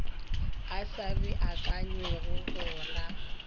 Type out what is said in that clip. a sa beakanywago go ra